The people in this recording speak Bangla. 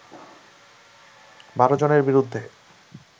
১২ জনের বিরুদ্ধে